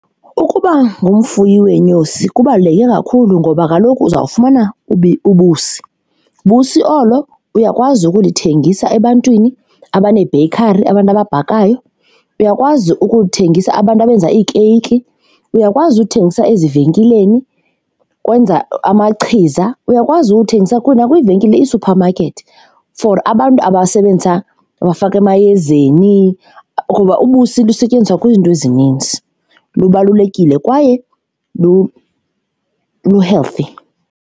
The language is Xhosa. Ukuba ngumfuyi weenyosi kubaluleke kakhulu ngoba kaloku uzawufumana ubusi, ubusi olo uyakwazi ukulithengisa ebantwini abanee-bakery, abantu ababhakayo, uyakwazi ukuwuthengisa abantu abenza iikeyiki, uyakwazi uthengisa ezivenkileni ukwenza amachiza, uyakwazi uwuthengisa na kwiivenkile ii-supermarket for abantu abasebenzisa abafaka emayezeni kuba ubusi lusetyenziswa kwiinto ezininzi, lubalulekile kwaye lu-healthy.